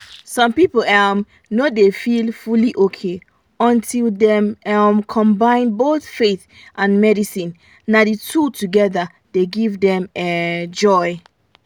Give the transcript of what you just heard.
some people um no dey feel fully okay until dem um combine both faith and medicine na the two together dey give dem um joy